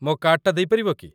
ମୋ କାର୍ଡ଼ଟା ଦେଇପାରିବ କି?